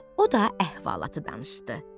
O da əhvalatı danışdı.